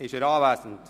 Ist er anwesend?